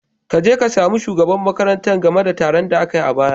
Kaje ka sami shugaban makarantar game da taron da akai a baya.